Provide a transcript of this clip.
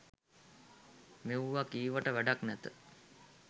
මෙව්වා කීවට වැඩක් නැත.